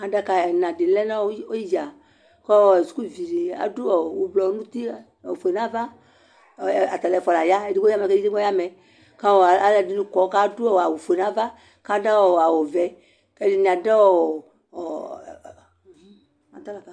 Adaka ɛna di lɛnʋ idza kʋ sukuvidi adʋ ʋblɔ nʋ uti ofue nʋ ava atalʋ ɛfʋa laya edigbo bi ɔya amɛ kʋ alʋ ɛdini kɔ kʋbadʋ awʋ ofue nʋ ava kʋ adʋ awʋvɛ kʋ ɛdini adʋ